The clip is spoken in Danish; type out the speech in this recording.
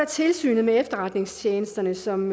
tilsynet med efterretningstjenesterne som